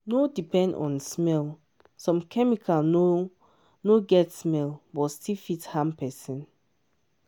no depend on smell—some chemical no no get smell but still fit harm person.